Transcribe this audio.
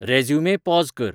resume pause कर